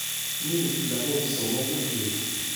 Mi lagok somoku yu.